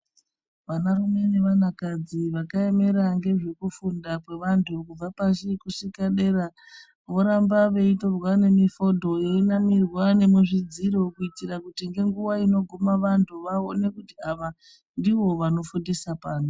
Vanarume nevanakadzi vakaemera ngezvekufunda kwevantu kubva pashi kuguma dera voramba veitorwa nemifodho einamirwa nemuzvidziro kuitira kuti nenguwa inoguma vantu kuti vaone kuti ava ndivovano fundisa pano.